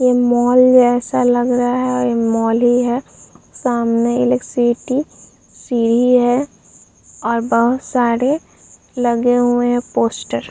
यह मॉल जैसा लग रहा है और मॉल ही है। सामने एलेकसिटी सीढ़ी है और बहुत सारे लगे हुए हैं पोस्टर ।